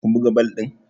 kun buga bal din!